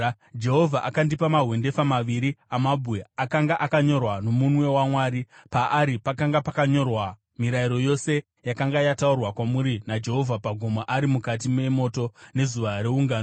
Jehovha akandipa mahwendefa maviri amabwe akanga akanyorwa nomunwe waMwari. Paari pakanga pakanyorwa mirayiro yose yakanga yataurwa kwamuri naJehovha pagomo ari mukati memoto, nezuva reungano.